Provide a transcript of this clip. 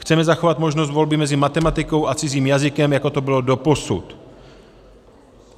Chceme zachovat možnost volby mezi matematikou a cizím jazykem, jako to bylo doposud.